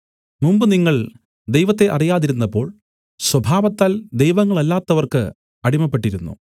മുമ്പ് നിങ്ങൾ ദൈവത്തെ അറിയാതിരുന്നപ്പോൾ സ്വഭാവത്താൽ ദൈവങ്ങളല്ലാത്തവർക്ക് അടിമപ്പെട്ടിരുന്നു